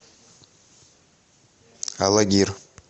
алагир